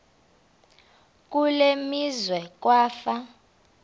kule meazwe kwafa